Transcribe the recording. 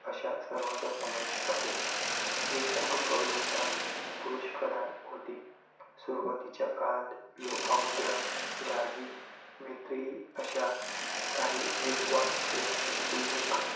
अश्या सर्वांचा समावेश असे, ही कुटुंब व्यवस्था पुरुष प्रधान होती. सुरुवातीच्या काळात लोपामुद्रा, गार्गी, मैत्रेयी अश्या काही विद्वान स्त्रीयांचे उल्लेख